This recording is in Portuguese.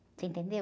Você entendeu?